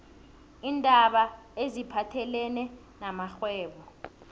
iindaba eziphathelene namrhwebo